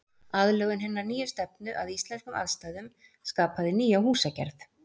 Aðlögun hinnar nýju stefnu að íslenskum aðstæðum skapaði nýja húsagerð.